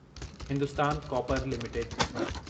Hindustan copper limited